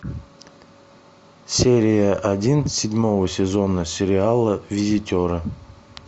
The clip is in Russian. серия один седьмого сезона сериала визитеры